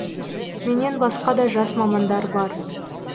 менен басқа да жас мамандар бар